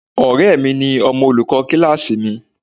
Ọ̀rẹ́ mi ni ọmọ olùkọ́ kíláàsì mi.